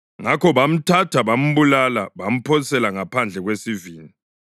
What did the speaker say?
Ngakho bamthatha bambulala bamphosela ngaphandle kwesivini.